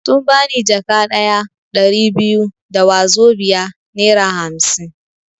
Sun bani jaka ɗaya (Ɗari biyu) da wazobia (nera hamsin)